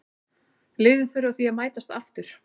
Liðin þurfa því að mætast aftur.